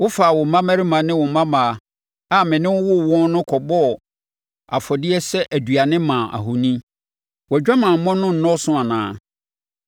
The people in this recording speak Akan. “ ‘Wofaa wo mmammarima ne wo mmammaa, a me ne wo woo wɔn no kɔbɔɔ afɔdeɛ sɛ aduane maa ahoni. Wʼadwamammɔ no nnɔɔso anaa?